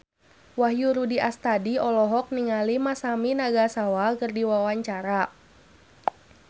Wahyu Rudi Astadi olohok ningali Masami Nagasawa keur diwawancara